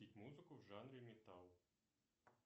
музыку в жанре металл